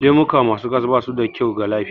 Lemuka ma su gas ba su da kyau ga lafiya